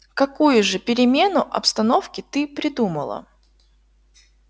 какую же перемену обстановки ты придумала